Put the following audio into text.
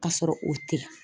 Kasɔrɔ o tɛ